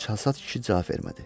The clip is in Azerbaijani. Çalsat kişi cavab vermədi.